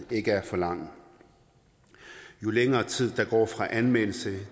ikke er for lang jo længere tid der går fra anmeldelse